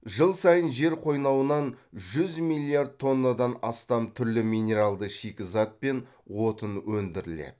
жыл сайын жер қойнауынан жүз миллиард тоннадан астам түрлі минералды шикізат пен отын өндіріледі